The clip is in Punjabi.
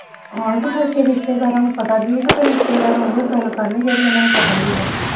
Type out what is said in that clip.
ਕੌਣ ਤੇ ਫਿਰ ਰਿਸ਼ਤੇਦਾਰਾਂ ਨੂੰ ਪਤਾ ਕੀ ਹੀ ਫਿਰ ਰਿਸ਼ਤੇਦਾਰਾਂ ਉਹੋ ਗੱਲ ਕਰਨੀ ਜਿਹੜੀ ਉਨ੍ਹਾਂ ਨੂੰ ਪਤਾ ਨੀਗਾ